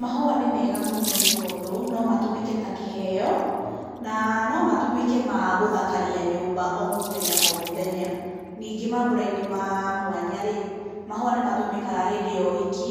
Mahũa nĩ mega mũno nĩ tondũ no matũmĩke ta kĩheo, na no matũmĩke ma gũthkaria nyũmba o mũthenya o mũthenya. Ningĩ mambũra-inĩ ma mwanya-rĩ, mahũa nĩ matũmĩkaga hĩndĩ ya ũhiki